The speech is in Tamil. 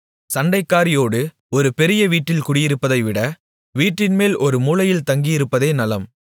சண்டைக்காரியோடு ஒரு பெரிய வீட்டில் குடியிருப்பதைவிட வீட்டின்மேல் ஒரு மூலையில் தங்கியிருப்பதே நலம்